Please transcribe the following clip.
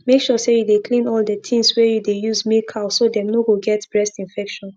make sure say you clean all the things wey you dey use milk cow so dem no go get breast infection